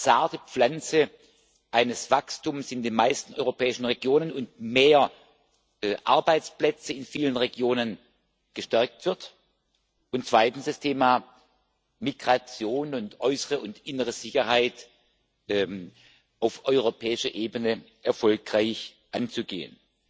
zarte Pflanze eines Wachstums in den meisten europäischen Regionen und mehr Arbeitsplätze in vielen Regionen gestärkt werden und zweitens, das Thema Migration sowie äußere und innere Sicherheit auf europäischer Ebene erfolgreich anzugehen.